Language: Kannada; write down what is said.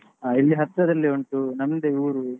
ಹ ಇಲ್ಲಿ ಹತ್ರದಲ್ಲೇ ಉಂಟು ನಮ್ದೇ ಊರು.